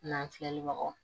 N'an filɛ lobagaw